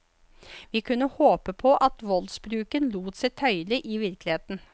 Vi kunne håpe på at voldsbruken lot seg tøyle i virkeligheten.